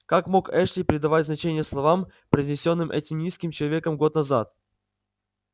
как мог эшли придавать значение словам произнёсенным этим низким человеком год назад